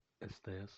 стс